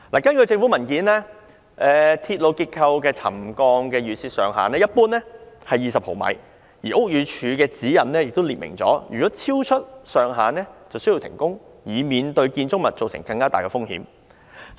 根據政府文件，鐵路結構的沉降預設上限一般為20毫米，而屋宇署的指引亦列明若超出上限便須停工，以免對建築物構成更大風險。